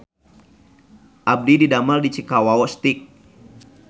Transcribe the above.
Abdi didamel di Cikawao Steak